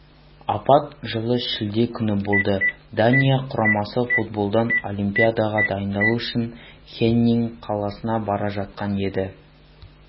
апат жылы шілде күні болды дания құрамасы футболдан олимпиадаға дайындалу үшін хеннинг қаласына бара жатқан еді